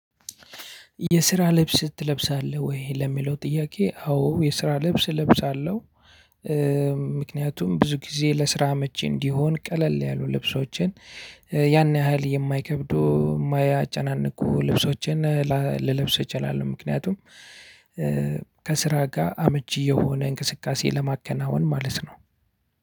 የስራ ልብስ ትለብሳለህ ወይ ለሚለው ጥያቄ? አዎ የስራ ልብስ እለብሳለሁ። ምክንያቱም ብዙ ጊዜ ለስራ አመቺ እንዲሆን ቀለል ያሉ ልብሶችን ያን ያህል የማይከብዱ ማያጨናንቁ ልብሶችን ልለብስ እችላለሁ። ምክንያቱም ከስራ ጋ አመቺ የሆነ እንቅስቃሴ ለማከናወን ማለት ነው።